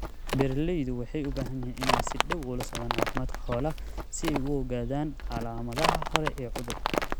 Beeralaydu waxay u baahan yihiin inay si dhow ula socdaan caafimaadka xoolaha si ay u ogaadaan calaamadaha hore ee cudurka.